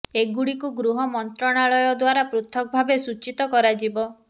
ଏଗୁଡ଼ିକୁ ଗୃହ ମନ୍ତ୍ରଣାଳୟ ଦ୍ୱାରା ପୃଥକ ଭାବେ ସୂଚିତ କରାଯିବ